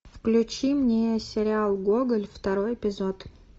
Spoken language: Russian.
включи мне сериал гоголь второй эпизод